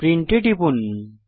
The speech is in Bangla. প্রিন্ট এ টিপুন